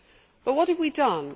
But what have we done?